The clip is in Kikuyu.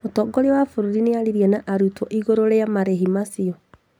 Mũtongoria wa bũrũri nĩarĩIrie na arutwo iguru rĩ marĩhi macio